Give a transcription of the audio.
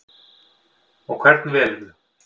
Og hvern velurðu?